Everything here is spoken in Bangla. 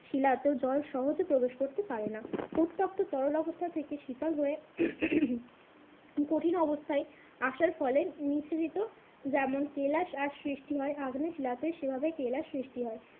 শিলাতেও জল সহজে প্রবেশ করতে পারে না। উত্তপ্ত তরল অবস্থা থেকে শীতল হয়ে কঠিন অবস্থায় আসার ফলে নিঃশেষিত যেমন কেলাস আর সৃষ্টি হয় আগ্নেয় শিলাতে সে ভাবে কেলাস সৃষ্টি হয়।